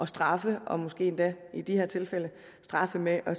straffe og måske endda i de her tilfælde straffe med at